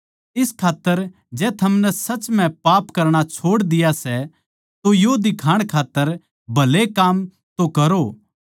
इस खात्तर जै थमनै सच म्ह पाप करणा छोड़ दिया सै तो यो दिखाण खात्तर भले काम तो करो